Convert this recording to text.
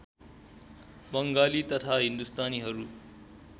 बङ्गाली तथा हिन्दुस्तानीहरू